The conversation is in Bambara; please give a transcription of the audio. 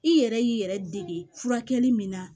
I yɛrɛ y'i yɛrɛ dege furakɛli min na